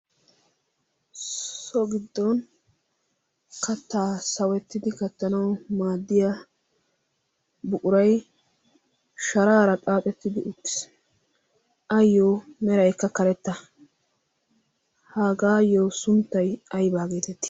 so giddon kattaa sawettidi kattanawu maaddiya buquraiy sharaara xaaxettidi upttisi ayyo merayekka karetta hagaayyo sunttay aybaageetetti